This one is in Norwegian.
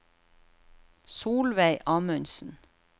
Solveig Amundsen